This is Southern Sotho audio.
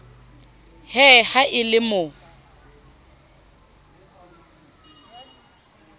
he ha e le mo